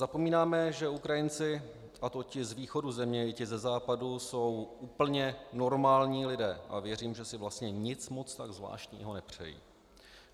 Zapomínáme, že Ukrajinci, a to ti z východu země i ti ze západu, jsou úplně normální lidé, a věřím, že si vlastně nic moc tak zvláštního nepřejí.